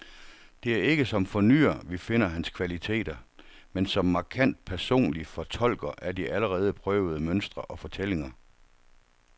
Det er ikke som fornyer, vi finder hans kvaliteter, men som markant personlig fortolker af de allerede prøvede mønstre og fortællinger.